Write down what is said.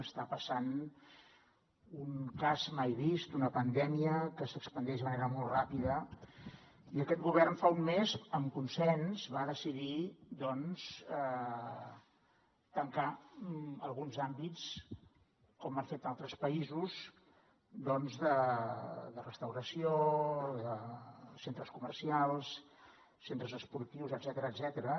està passant un cas mai vist una pandèmia que s’expandeix de manera molt ràpida i aquest govern fa un mes amb consens va decidir tancar alguns àmbits com han fet altres països de restauració centres comercials centres esportius etcètera